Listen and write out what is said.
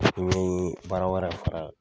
n ye baara wɛrɛ fara a kan.